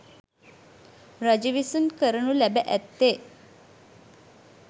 රජු විසින් කරනු ලැබ ඇත්තේ